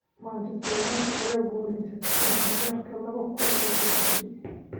Manchester United ayaa ku guuleysatay horyaalka laba kuun iyo sidedidii.